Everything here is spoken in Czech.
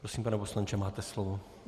Prosím, pane poslanče, máte slovo.